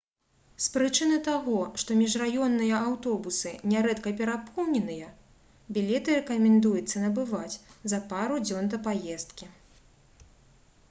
з прычыны таго што міжраённыя аўтобусы нярэдка перапоўненыя білеты рэкамендуецца набываць за пару дзён да паездкі